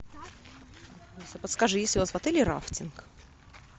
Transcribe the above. алиса подскажи есть ли у вас в отеле рафтинг